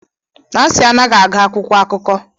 Nancy anaghị agụ akwụkwọ akụkọ